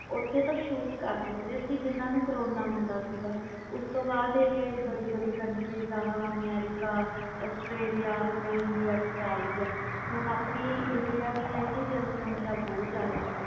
ਓਥੇ ਤਾ shoot ਕਰ ਦਿੰਦੇ ਸੀ ਉਸਤੋਂ ਬਾਅਦ ਬੜੀ ਬੜੀ ਵਿਚ ਜਿਵੇ ਅਮਰੀਕਾ ਆਸਟ੍ਰੇਲੀਆ ਇੰਡੀਆ ਵਿਚ ਹੁਣ ਆਪਣੀ ਇੰਡੀਆ ਦੀ ਜਨਸੰਖਿਆ ਬਹੁਤ ਜਾਂਦਾ